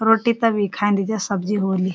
रोटी तभी खांदी जब सब्जी होली।